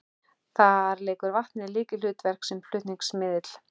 Þar leikur vatnið lykilhlutverk sem flutningsmiðill.